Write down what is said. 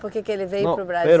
Por que que ele veio para o